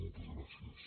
moltes gràcies